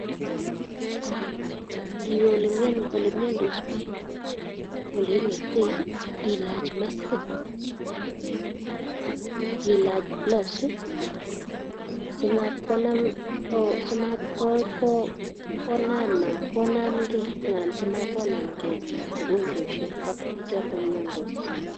Ngiwe ole miandos piik ko ole inetitai ko ilach maskit ak ilach gloves i, asimatkonaamgei, anan si mat onamgei mogonchweshek.